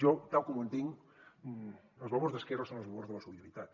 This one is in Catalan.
jo tal com ho entenc els valors d’esquerra són els valors de la solidaritat